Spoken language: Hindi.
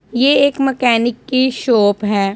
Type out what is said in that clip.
ये एक मैकेनिक की शॉप है।